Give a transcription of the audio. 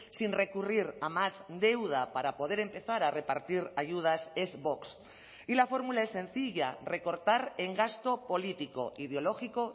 sin recurrir a más deuda para poder empezar a repartir ayudas es vox y la fórmula es sencilla recortar en gasto político ideológico